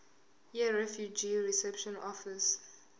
yirefugee reception office